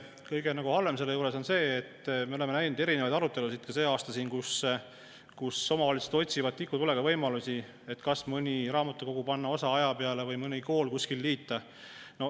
Kõige halvem selle juures on see, et me oleme näinud erinevaid arutelusid ka sel aastal, kus omavalitsused otsivad tikutulega võimalusi, et kas mõni raamatukogu panna tööle osaajaga või mõni kool kuskil liita.